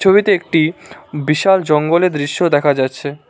ছবিতে একটি বিশাল জঙ্গলের দৃশ্য দেখা যাচ্ছে।